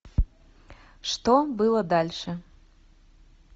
что было дальше